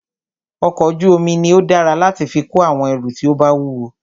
ọkọ̀ ojú omi ní o dára láti fí kó àwọn ẹrù tí o bá wúwo.